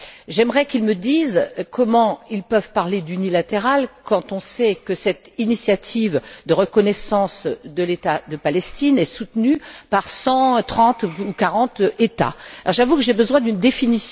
J'aimerais qu'ils me disent comment ils peuvent parler d'unilatéralisme quand on sait que cette initiative de reconnaissance de l'État palestinien est soutenue par 130 ou 140 États. J'avoue que j'ai besoin d'une définition du vocabulaire.